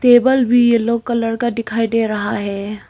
Table भी yellow colour का दिखाई दे रहा है।